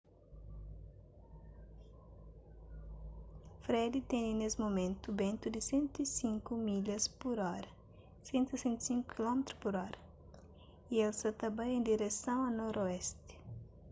fred tene nes mumentu bentu di 105 milhas pur óra 165 km/h y el sa ta bai en direson a noroesti